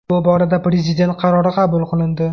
Bu borada prezident qarori qabul qilindi.